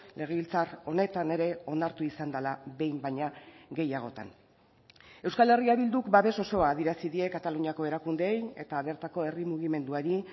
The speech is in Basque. legebiltzar honetan ere onartu izan dela behin baina gehiagotan euskal herria bilduk babes osoa adierazi die kataluniako erakundeei eta bertako herri mugimenduari